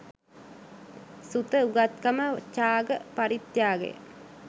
සුත උගත්කම චාග පරිත්‍යාගය